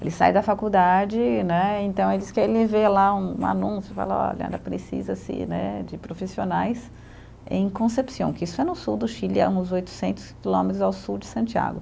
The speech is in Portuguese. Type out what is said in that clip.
Ele sai da faculdade, né, então ele diz que ele vê lá um anúncio, fala, olha, precisa-se, né, de profissionais em Concepción, que isso é no sul do Chile, é uns oitocentos quilômetros ao sul de Santiago.